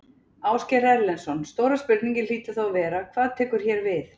Ásgeir Erlendsson: Stóra spurningin hlýtur þá að vera: Hvað tekur hér við?